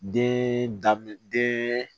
Den daminɛ den